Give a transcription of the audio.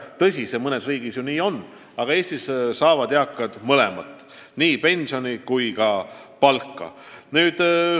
Tõsi, mõnes riigis see nii ju on, aga Eestis saavad eakad mõlemat, nii pensioni kui ka palka.